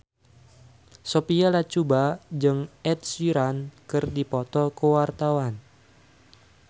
Sophia Latjuba jeung Ed Sheeran keur dipoto ku wartawan